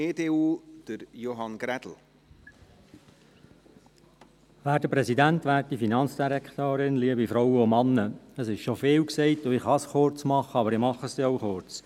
Es wurde schon vieles gesagt, und ich kann es kurz machen, und ich mache es auch kurz.